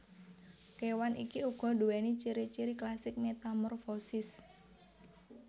Kewan iki uga duwéni ciri ciri klasik metamorfosis